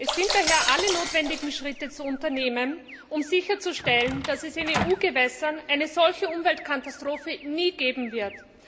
Es sind daher alle notwendigen Schritte zu unternehmen, um sicherzustellen, dass es in EU Gewässern eine solche Umweltkatastrophe nie geben wird.